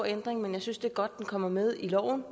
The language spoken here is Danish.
ændring men jeg synes det er godt den kommer med i loven